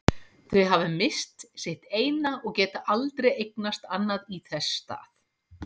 Þau hafa misst sitt eina og geta aldrei eignast annað í þess stað.